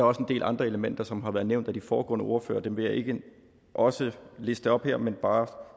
også en del andre elementer som har været nævnt af de foregående ordførere og dem vil jeg ikke også liste op her jeg vil bare